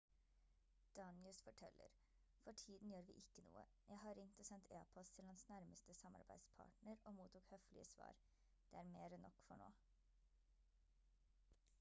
danius forteller: «for tiden gjør vi ikke noe. jeg har ringt og sendt e-post til hans nærmeste samarbeidspartner og mottok høflige svar. det er mer enn nok for nå»